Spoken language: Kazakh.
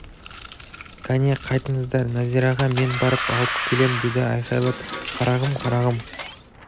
кәне қайтыңыздар нәзираға мен барып алып келем деді айқайлап қарағым қарағым